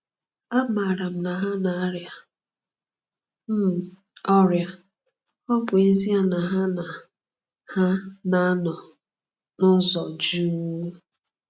Amaara m na ha na-arịa um ọrịa, ọ bụ ezie na ha na ha na-anọ n’ụzọ jụụ.